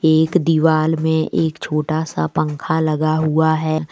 एक दीवाल में एक छोटा सा पंखा लगा हुआ है।